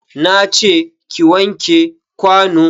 Na ce ki wanke kwano.